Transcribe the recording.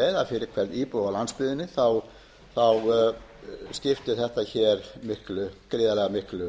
fyrir hvern íbúa á landsbyggðinni skipti þetta gríðarlega miklu